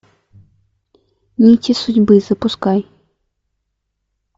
нити судьбы запускай